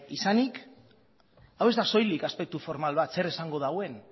izanik hau ez da soilik aspektu formal bat zer esango duen